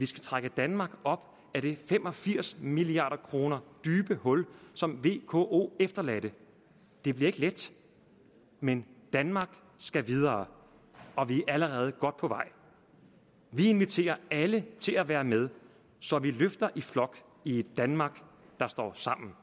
trække danmark op af det fem og firs milliard kroner dybe hul som vko efterlod det bliver ikke let men danmark skal videre og vi er allerede godt på vej vi inviterer alle til at være med så vi løfter i flok i et danmark der står sammen